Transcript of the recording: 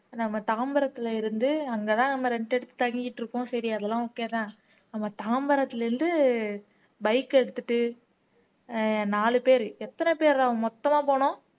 நம்ம தாம்பரத்திலே இருந்து அங்கே தான் நம்ம rent எடுத்து தங்கிட்டு இருக்கோம் சரி அதெல்லாம் okay தன் நம்ம தாம்பரத்துல இருந்து bike எடுத்துட்டு அஹ் நாலு பேரு எத்தன பேரா மொத்தமா போனோம்